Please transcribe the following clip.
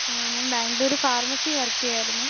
ഞാൻ ബാംഗ്ലൂർ ഫർമസിയിൽ വർക്ക് ചെയ്യുവായിരുന്നു.